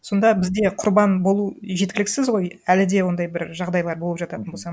сонда бізде құрбан болу жеткіліксіз ғой әлі де ондай бір жағдайлар болып жататын болса